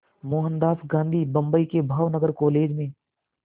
मोहनदास गांधी बम्बई के भावनगर कॉलेज में